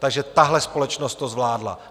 Takže tahle společnost to zvládla.